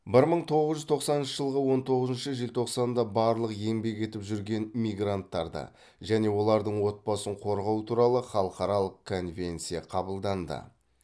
бір мың тоғыз жүз тоқсаныншы жылғы он тоғызыншы желтоқсанда барлық еңбек етіп жүрген мигранттарды және олардың отбасын қорғау туралы халықаралық конвенция қабылданды